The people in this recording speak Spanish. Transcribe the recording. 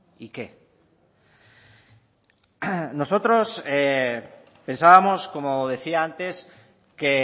y qué nosotros pensábamos como decía antes que